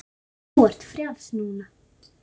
Þú ert frjáls núna.